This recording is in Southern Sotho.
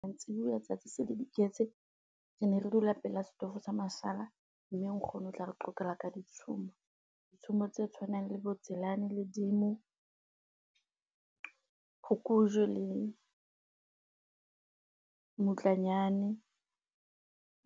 Mantsibuya tsatsi se le diketse. Re ne re dula pela setofo sa mashala mme nkgono o tla re qoqela ka ditshomo. Ditshomo tse tshwanang le bo Tselane le Dimo. Phokojwe le mmutlanyane